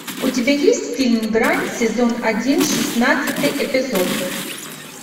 у тебя есть фильм грань сезон один шестнадцатый эпизод